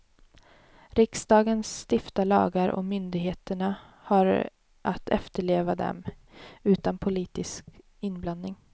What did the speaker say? Riksdagen stiftar lagar och myndigheterna har att efterleva dem, utan politisk inblandning.